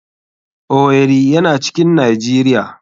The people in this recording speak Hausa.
Owerri yana cikin nijeria.